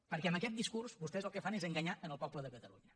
perquè amb aquest discurs vostès el que fan és enganyar el poble de catalunya